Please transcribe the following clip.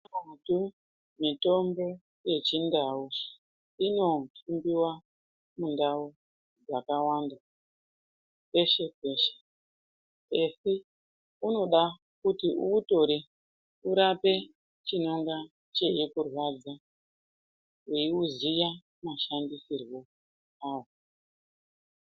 Mitombo yechindau inohiniwa mundau dzakawanda peshe -peshe asi unode kuti uutore urape chinonga cheikurwadza weuziya mashandisirwo awo.